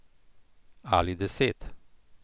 Ali deset.